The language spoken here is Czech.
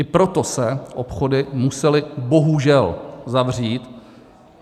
I proto se obchody musely bohužel zavřít.